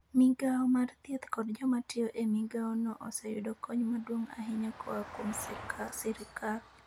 Migawo mar thieth kod joma tiyo e migawono oseyudo kony maduong' ahinya koa kuom sirkal.